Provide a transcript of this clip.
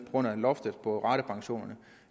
grund af loftet på ratepensionerne